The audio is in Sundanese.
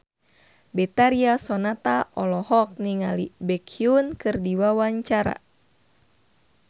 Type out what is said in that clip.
Betharia Sonata olohok ningali Baekhyun keur diwawancara